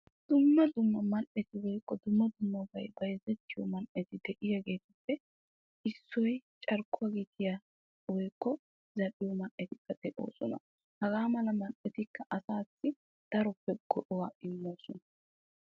dumma dumma man'eti woyikko dumma dummabay bayizettiyo man'eti de'iyageetuppe issoy carkkuwa gitiya woyikko zal'iyo man'etikka de'oosona. hagaa mala man'etikka asaassi daroppe go'aa immoosona.